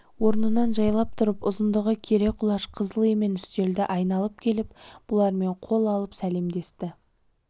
орнынан жайлап тұрып ұзындығы кере құлаш қызыл емен үстелді айналып келіп бұлармен қол алып сәлемдесті